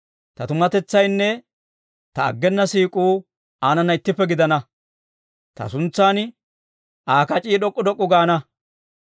Ta tumatetsaynne ta aggena siik'uu aanana ittippe gidana. Ta suntsan Aa kac'ii d'ok'k'u d'ok'k'u gaana.